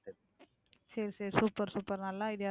சரி, சரி super, super நல்ல idea தான்.